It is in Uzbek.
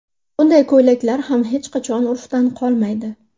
Bunday ko‘ylaklar ham hech qachon urfdan qolmaydi.